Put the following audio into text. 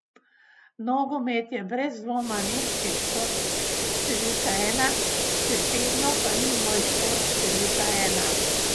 Nogomet je brez dvoma nemški šport številka ena, še vedno pa ni moj šport številka ena ...